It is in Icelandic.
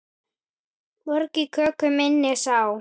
Mörg í köku minni sá.